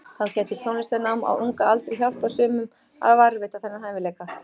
Þá gæti tónlistarnám á unga aldri hjálpað sumum að varðveita þennan hæfileika.